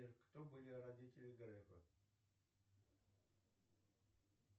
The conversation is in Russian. сбер кто были родители грефа